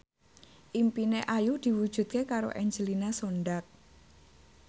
impine Ayu diwujudke karo Angelina Sondakh